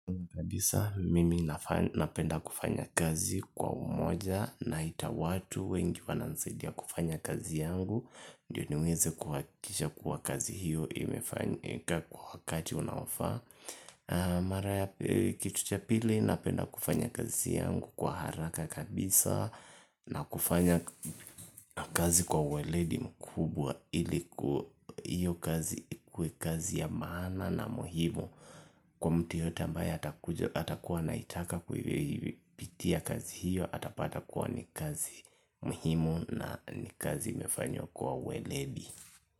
Kabisa mimi napenda kufanya kazi kwa umoja naita watu wengi wananisaidia kufanya kazi yangu ndio niweze kuhakikisha kuwa kazi hiyo imefanyika kwa wakati unaofaa mara ya kitu cha pili napenda kufanya kazi yangu kwa haraka kabisa na kufanya kazi kwa ueledi mkubwa iliku hiyo kazi ikuwe kazi ya maana na muhimu kwa mtu yeyote ambaye atakuwa anaitaka kuipitia kazi hiyo atapata kuwa ni kazi muhimu na ni kazi imefanywa kwa ueledi.